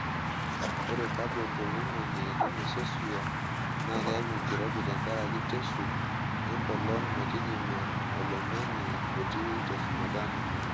Ore kabon toloingange le mesosphere naa keyau enkirobi tenkaraki teshuk enkolong metijinga oloingnage otii teshumata ninye.